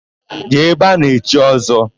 Jee ebe a na-echi Ọ́zọ́!